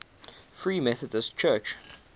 free methodist church